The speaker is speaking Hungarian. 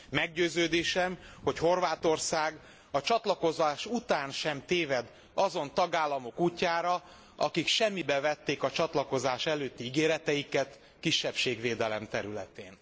Meggyőződésem, hogy Horvátország a csatlakozás után sem téved azon tagállamok útjára, akik semmibe vették a csatlakozás előtti ígéreteiket a kisebbségvédelem területén.